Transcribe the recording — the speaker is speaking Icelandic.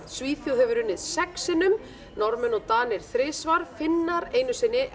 Svíþjóð hefur unnið sex sinnum Norðmenn og Danir þrisvar Finnar einu sinni